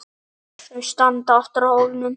Þau standa aftur á hólnum.